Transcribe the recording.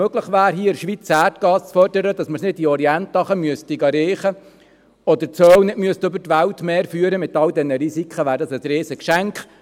Wenn es in der Schweiz möglich wäre, Erdgas zu fördern, damit wir es nicht im Orient unten holen müssen, oder das Öl nicht mit allen Risiken über die Weltmeere führen müssten, so wäre dies ein riesiges Geschenk.